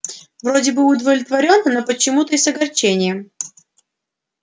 вроде бы удовлетворённо но почему-то и с огорчением